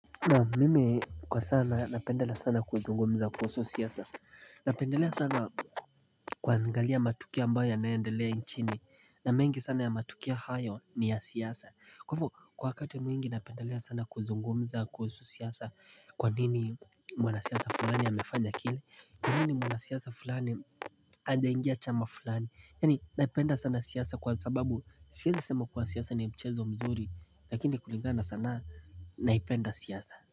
Naam, mimi kwa sana napenda sana kuzungumza kuhusu siasa Napendelea sana kuangalia matukio ambayo yanayoendelea nchini na mengi sana ya matukio ya hayo ni ya siasa Kwa hivyo kwa wakati mwingi napendelea sana kuzungumza kuhusu siasa Kwa nini mwana siasa fulani ya mefanya kile Kwa nini mwana siasa fulani hajaingia chama fulani Yani naipenda sana siasa kwa sababu siwezi sema kuwa siasa ni mchezo mzuri Lakini kulingana sanaa naipenda siasa.